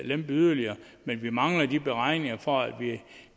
lempe yderligere men vi mangler de beregninger for at